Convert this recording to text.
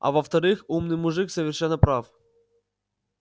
а во-вторых умный мужик совершенно прав